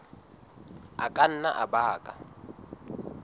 a ka nna a baka